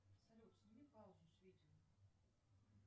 салют сними паузу с видео